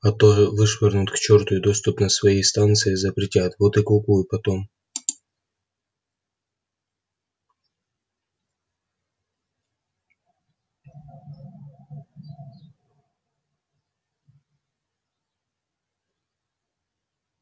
а то вышвырнут к чёрту и доступ на свои станции запретят вот и кукуй потом